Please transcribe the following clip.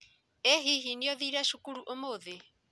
ĩ hihi nĩũthire cukuru ũmũthĩ?